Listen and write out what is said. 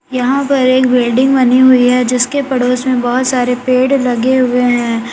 यहां पर एक बिल्डिंग बनी हुई है जिसके पड़ोस में बहुत सारे पेड़ लगे हुए हैं।